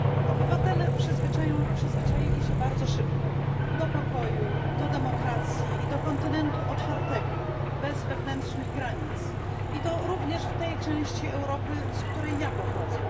Obywatele przyzwyczaili się bardzo szybko do pokoju, demokracji i kontynentu otwartego, bez wewnętrznych granic, i to również w tej części Europy, z której ja pochodzę.